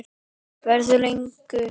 Verður lengur.